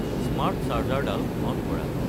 smart চাৰ্জাৰডাল on কৰা